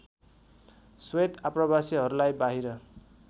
श्वेत आप्रवासीहरूलाई बाहिर